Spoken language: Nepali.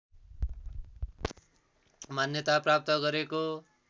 मान्यता प्राप्त गरेको